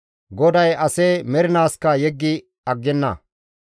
GODAY ase mernaaskka yeggi aggenna.